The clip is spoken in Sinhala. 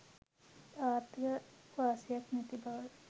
ආර්ථික වාසියක් නැති බව.